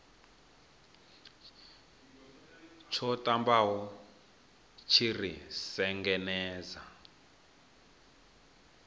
tsho ṱambaho tshi ri sengenedza